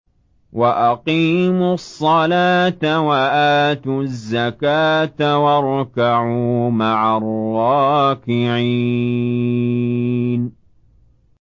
وَأَقِيمُوا الصَّلَاةَ وَآتُوا الزَّكَاةَ وَارْكَعُوا مَعَ الرَّاكِعِينَ